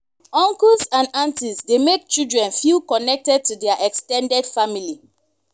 uncles and aunties dey make children feel connected to their ex ten ded family